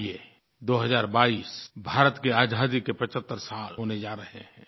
आइए 2022 भारत की आज़ादी के 75 साल होने जा रहे हैं